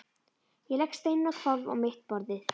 Ég legg steininn á hvolf á mitt borðið.